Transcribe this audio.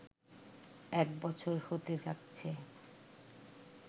এক বছর হতে যাচ্ছে